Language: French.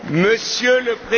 Monsieur le